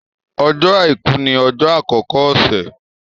Ọjọ́ Àìkú ni ọjọ́ àkọ́kọ́ ọ̀sẹ̀.